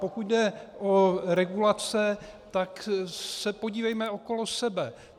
Pokud jde o regulace, tak se podívejme okolo sebe.